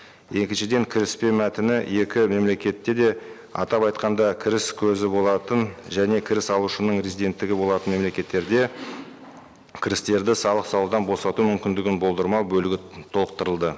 екіншіден кіріспе мәтіні екі мемлекетте де атап айтқанда кіріс көзі болатын және кіріс алушының резиденттігі болатын мемлекеттерде кірістерді салық салудан босату мүмкіндігін болдырмау бөлігі толықтырылды